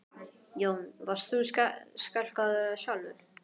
Jón: Varst þú skelkaður sjálfur?